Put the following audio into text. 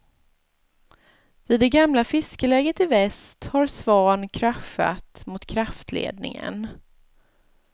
Vid det gamla fiskeläget i väst har svan kraschat mot kraftledningen.